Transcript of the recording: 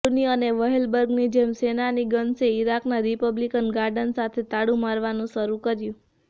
ક્લૂની અને વેહલબર્ગની જેમ શેનાનીગન્સે ઇરાકના રિપબ્લિકન ગાર્ડ સાથે તાળુ મારવાનું શરૂ કર્યું